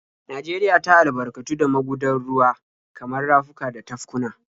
Najeriya ta albarkatu da magudan ruwa kamar rafuka da tafkuna.